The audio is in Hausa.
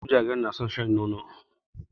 Wasu jarirai na son shan nono.